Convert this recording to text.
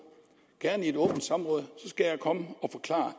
gerne i et åbent samråd så skal jeg komme og forklare